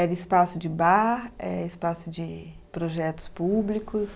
Era espaço de bar, espaço de projetos públicos?